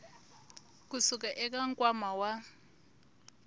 ku suka eka nkwama wa